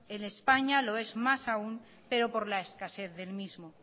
en españa lo es más aun pero por la escasez del mismo